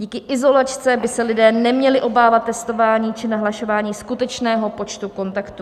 Díky izolačce by se lidé neměli obávat testování či nahlašování skutečného počtu kontaktů.